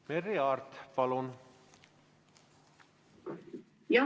Merry Aart, palun!